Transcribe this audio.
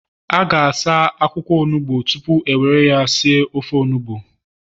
A ga-asa akwụkwọ onugbo tupu e were ya si ofe onugbu